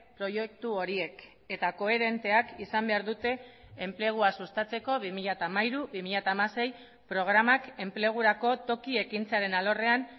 proiektu horiek eta koherenteak izan behar dute enplegua sustatzeko bi mila hamairu bi mila hamasei programak enplegurako toki ekintzaren alorrean